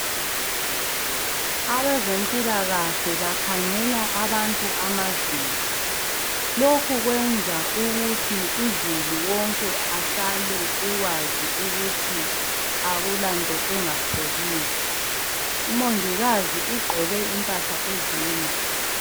abezempilakahle bakhangela abantu amazinyo lokhu kwenza ukuthi uzulu wonke ahlale ekwazi ukuthi akulanto enga pholiyo umongikazi ugqoke impahla ezinde